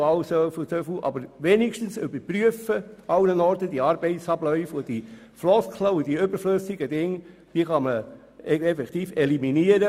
Aber man soll zumindest überall die Arbeitsabläufe überprüfen und die Leerläufe eliminieren.